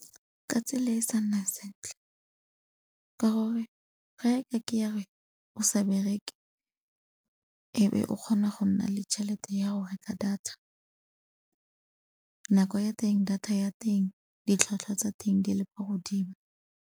Ka tsela e e sa nna sentle, ka gore ga e ka ke ya re o sa bereke e be o kgona go nna le tšhelete ya go reka data. Nako ya teng data ya teng ditlhwatlhwa tsa teng di le kwa godimo.